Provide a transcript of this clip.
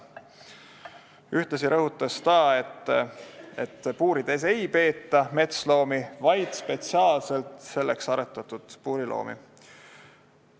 Ühtlasi rõhutas ta, et puurides ei peeta metsloomi, vaid spetsiaalselt selleks aretatud puuriloomi.